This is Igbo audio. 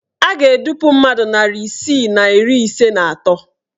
A ga-edupu mmadụ narị isii na iri ise na atọ